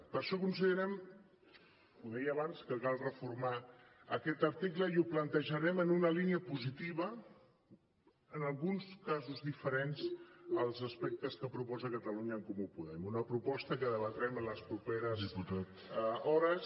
per això considerem ho deia abans que cal reformar aquest article i ho plantejarem en una línia positiva en alguns casos diferents als aspectes que proposa catalunya en comú podem una proposta que debatrem en les properes hores